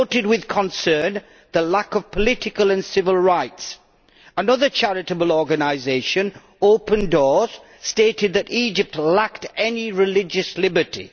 It noted with concern the lack of political and civil rights, and another charitable organisation, Open Doors, has stated that Egypt lacks any religious liberty.